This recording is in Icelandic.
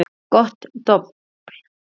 Gott dobl.